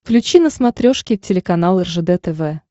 включи на смотрешке телеканал ржд тв